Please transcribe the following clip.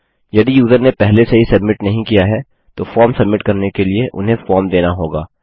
यदि यूज़र ने पहले से ही सब्मिट नहीं किया है तो फॉर्म सब्मिट करने के लिए उन्हें फॉर्म देना होगा